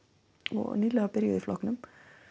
og nýlega byrjuð í flokknum